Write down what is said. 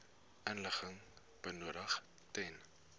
inligting benodig ten